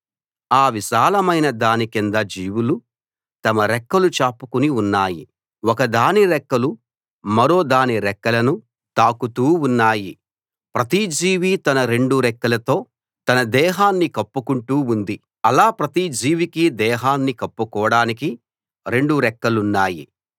ఆ విశాలమైన దాని కింద జీవులు తమ రెక్కలు చాపుకుని ఉన్నాయి ఒకదాని రెక్కలు మరోదాని రెక్కలను తాకుతూ ఉన్నాయి ప్రతి జీవీ తన రెండు రెక్కలతో తన దేహాన్ని కప్పుకుంటూ ఉంది అలా ప్రతి జీవికీ దేహాన్ని కప్పుకోడానికి రెండు రెక్కలున్నాయి